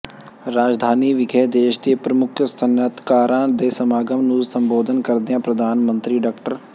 ਰਾਜਧਾਨੀ ਵਿਖੇ ਦੇਸ਼ ਦੇ ਪ੍ਰਮੁੱਖ ਸਨਅਤਕਾਰਾਂ ਦੇ ਸਮਾਗਮ ਨੂੰ ਸੰਬੋਧਨ ਕਰਦਿਆਂ ਪ੍ਰਧਾਨ ਮੰਤਰੀ ਡਾ